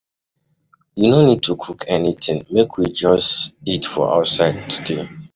You no need to cook anything, make we just eat for outside today.